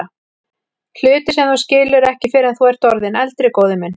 Hluti sem þú skilur ekki fyrr en þú ert orðinn eldri, góði minn.